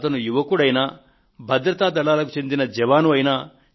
అతను యువకుడైనా భద్రతాదళాలకు చెందిన జవాను అయినా